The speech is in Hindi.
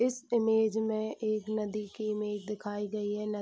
इस इमेज मे एक नदी की इमेज दिखाई गयी है।